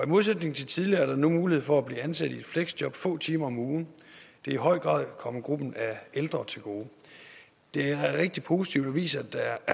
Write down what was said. modsætning til tidligere er der nu mulighed for at blive ansat i et fleksjob få timer om ugen og i høj grad kommet gruppen af ældre til gode det er rigtig positivt og viser at der